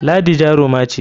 Ladi jaruma ce.